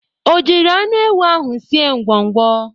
O jiri anụ ewu ahụ sie ngwọngwọ?